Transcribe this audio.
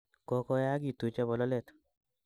Kagoyagiitu chebololet